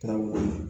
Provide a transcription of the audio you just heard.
Taa mun ye